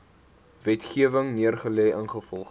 wetgewing neergelê ingevolge